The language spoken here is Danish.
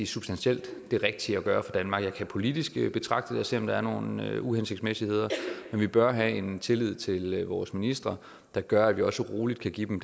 substantielt er det rigtige at gøre for danmark jeg det politisk og se om der er nogle uhensigtsmæssigheder men vi bør have en tillid til vores ministre der gør at vi også roligt kan give dem